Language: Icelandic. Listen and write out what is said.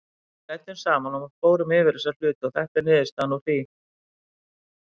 Við ræddum saman og fórum yfir þessa hluti og þetta er niðurstaðan úr því.